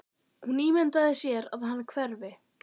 Hún ímyndar sér að hann hverfi.